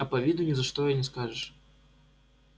а по виду ни за что и не скажешь